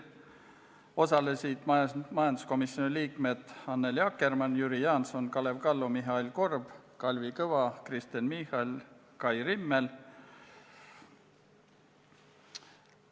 Osalesid majanduskomisjoni liikmed Annely Akkermann, Jüri Jaanson, Kalev Kallo, Mihhail Korb, Kalvi Kõva, Kristen Michal ja Kai Rimmel.